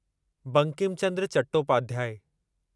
Bankim Chandra Chattopadhyay